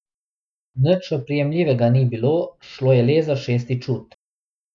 Nič oprijemljivega ni bilo, šlo je le za šesti čut.